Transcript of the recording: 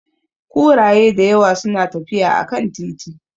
Kuraye da yawa suna tafiya a kan titi.